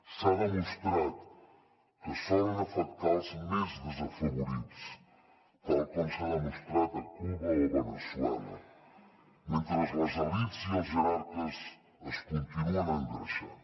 s’ha demostrat que solen afectar els més desafavorits tal com s’ha demostrat a cuba o veneçuela mentre les elits i els jerarques es continuen engreixant